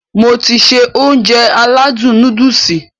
Mo ti se Ounjẹ aládùn nóódùsì